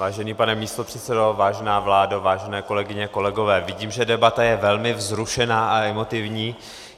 Vážený pane místopředsedo, vážená vládo, vážené kolegyně, kolegové, vidím, že debata je velmi vzrušená a emotivní.